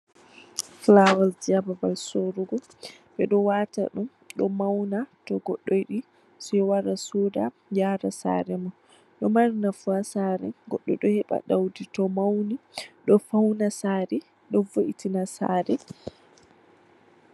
Fulaawasji ha babal soorugo Ɓe ɗo waata ɗum ɗo mawna, to goɗɗo yiɗi sey wara sooda waatata ha saare mum. Ɗo mari nafu ha saare, goɗɗo ɗo heɓa ɗowdi to mawni, ɗo fawna saare, ɗo vo'itina saare.